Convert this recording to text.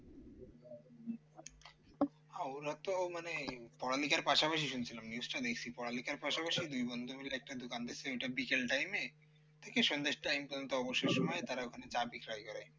হ্যাঁ ওরা তো মানে পড়ালেখার পাশাপাশি শুনছিলাম news টা দেখছি পড়ালেখার পাশাপাশি দুই বন্ধু মিলে একটা দোকান দিয়েছে ওইটা বিকেল time এ থেকে সন্ধ্যা time পর্যন্ত অবসর সময়ে তারা ওখানে চা বিক্রয় করে